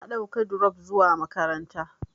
Na ɗauka dirop zuwa makaranta.